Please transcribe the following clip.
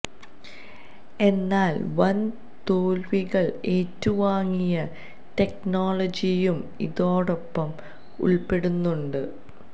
എന്നാല് വന് തോല്വികള് ഏറ്റ് വാങ്ങിയ ടെക്നോളജിയും ഇതോടൊപ്പം ഉള്പ്പെടുന്നുണ്ട്